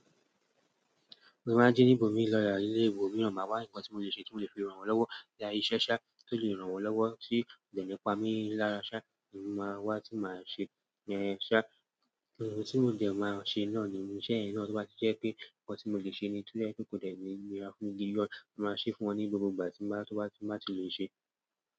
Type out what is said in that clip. Mo máa ń jí níbò mí lọ́ ilé ìbò míran, máa wá ǹkan tí mo lè ṣe tí mo lè fi rán wọn lọ́wọ́. Boya iṣẹ́. Tí mó fi lè rán wọn lọ́wọ́ tí kò de mí pami lára, èmi máa wá tí màá ṣe yen. Ohun tí mòdẹ̀ máa ṣe náà nínú iṣẹ́ yen náà, to bá ti je pé ǹkan tí mo lè ṣe ni to dẹ́ je pe ko dẹ̀ ni níra fún mi na, màá ṣe fún wọn ní gbogbo ìgbà tí wọ́n bá ti lè ṣe.